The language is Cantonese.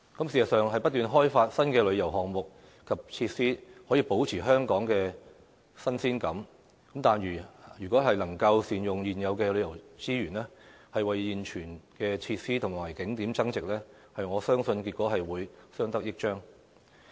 事實上，不斷開發新的旅遊項目及設施，可以保持香港的新鮮感，但如果能夠善用現有的旅遊資源，為現存的設施和景點增值，我相信結果會更相得益彰。